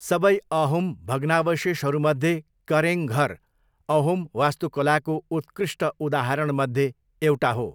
सबै अहोम भग्नावशेषहरूमध्ये करेङ घर अहोम वास्तुकलाको उत्कृष्ट उदाहरणमध्ये एउटा हो।